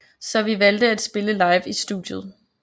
Så vi valgte at spille live i studiet